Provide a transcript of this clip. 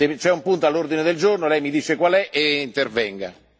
Se c'è un punto all'ordine del giorno, lei mi dice qual è e intervenga.